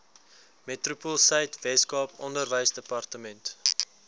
metropoolsuid weskaap onderwysdepartement